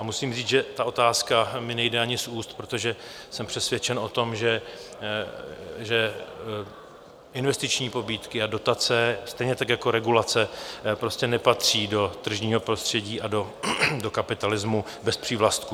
A musím říct, že ta otázka mi nejde ani z úst, protože jsem přesvědčen o tom, že investiční pobídky a dotace, stejně tak jako regulace, prostě nepatří do tržního prostředí a do kapitalismu bez přívlastků.